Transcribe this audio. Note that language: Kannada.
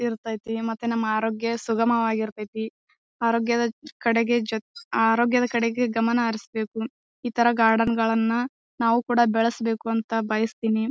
ಇರತೈತಿ ಮತ್ತೆ ನಮ್ಮ ಅರೋಗ್ಯ ಸುಗಮವಾಗಿ ಇರತೈತಿ. ಆರೋಗ್ಯದ ಕಡೆಗೆ ಜೊ ಆರೋಗ್ಯದ ಕಡೆಗೆ ಗಮನ ಹರಿಸಬೇಕು ಈ ತರ ಗಾರ್ಡನ್ ಗಳನ್ನ ನಾವು ಕೂಡ ಬೆಳಿಸ್ಬೇಕು ಅಂತ ಬಯಸ್ತೀನಿ.